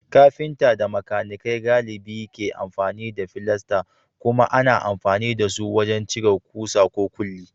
Kafinta da makanikai galibi ke amfani da filasta, kuma ana amfani da su wajen cire kusa ko kulli.